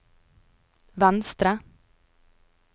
venstre